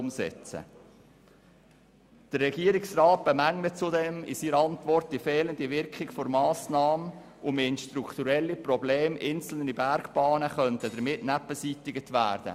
Der Regierungsrat bemängelt zudem in seiner Antwort die fehlende Wirkung der Massnahme und meint, strukturelle Probleme einzelner Bergbahnen könnten damit nicht beseitigt werden.